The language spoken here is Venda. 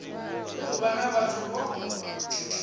tou vha na vhathu vho